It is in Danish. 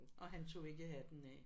Og han tog ikke hatten af